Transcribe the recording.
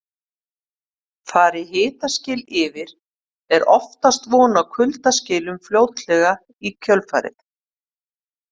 Fari hitaskil yfir er oftast von á kuldaskilum fljótlega í kjölfarið.